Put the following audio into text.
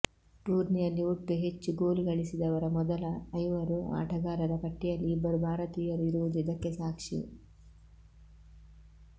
ಟೂರ್ನಿಯಲ್ಲಿ ಒಟ್ಟು ಹೆಚ್ಚು ಗೋಲು ಗಳಿಸಿದವರ ಮೊದಲ ಐವರು ಆಟಗಾರರ ಪಟ್ಟಿಯಲ್ಲಿ ಇಬ್ಬರು ಭಾರತೀಯರು ಇರುವುದು ಇದಕ್ಕೆ ಸಾಕ್ಷಿ